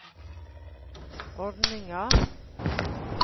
ordninga